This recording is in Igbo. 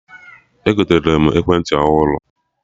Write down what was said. Egotere m ekwentị ọhụrụ